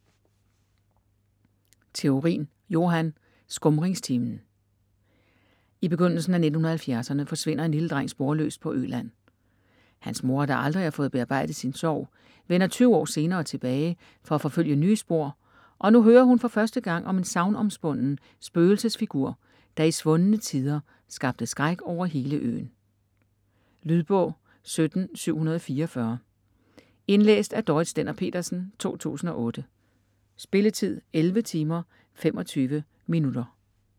Theorin, Johan: Skumringstimen I begyndelsen af 1970'erne forsvinder en lille dreng sporløst på Øland. Hans mor, der aldrig har fået bearbejdet sin sorg, vender 20 år senere tilbage for at forfølge nye spor, og nu hører hun for første gang om en sagnomspunden spøgelsesfigur, der i svundne tider skabte skræk over hele øen. Lydbog 17744 Indlæst af Dorrit Stender-Pedersen, 2008. Spilletid: 11 timer, 25 minutter.